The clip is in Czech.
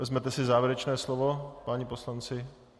Vezmete si závěrečné slovo, páni poslanci?